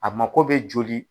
A mako bɛ joli.